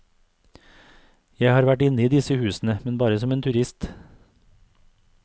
Jeg har vært inne i disse husene, men bare som en turist.